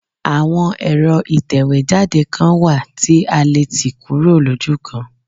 Àwọn èro ìtẹ̀wé jáde kan wà tí a letì kúrò lójúkan